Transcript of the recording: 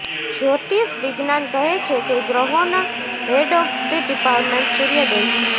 જ્યોતિષ વિજ્ઞાન કહે છે કે ગ્રહોના હેડ ઓફ ધ ડિપાર્ટમેન્ટ સૂર્યદેવ છે